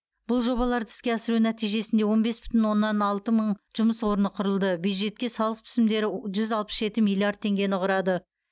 бұл жобаларды іске асыру нәтижесінде он бес бүтін оннан алты мың жұмыс орны құрылды бюджетке салық түсімдері жүз алпыс жеті миллиард теңгені құрады